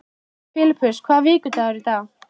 Filippus, hvaða vikudagur er í dag?